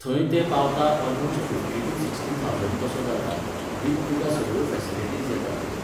थंय ते पावता almost fifty to sixty thousand तसो जाता, विथ तुका सगळ्यो फॅसिलिटीज येतात भितर.